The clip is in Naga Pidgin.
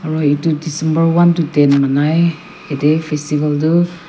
aru etu December one to ten manai ete festival tu--